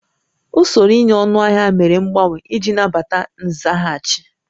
Usoro ịnye ọnụahịa mere mgbanwe iji nabata nzaghachi